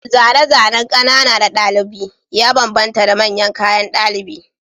Zane-zanen ƙanana na ɗalibi ya bambanta da manyan kayan ɗalibi